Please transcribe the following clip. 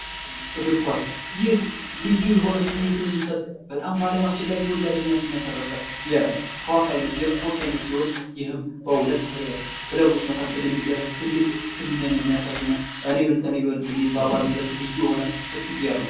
እግር ኳስ ይህ ልዩ የሆነ ስሜት የሚሰጥ በጣም በዓለማችን ላይ ተወዳጅነትን ያተረፈ ኳስ አይነት የስፖርት አይነት ሲሆን፤ ይህም በሁለቱ ክለቦች መካከል የሚደረግ ትልቅ ፍልሚያን የሚያሳይና እኔ እበልጥ እኔ እበልጥ የሚባሉበት ልዩ የሆነ ፍትጊያ ነው።